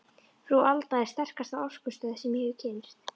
Frú Alda er sterkasta orkustöð sem ég hef kynnst.